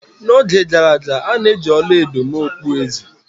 N'oge gara aga, a na-eji ọla edo mee okpueze.